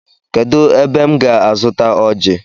Kedụ ebe m ga azuta ọji?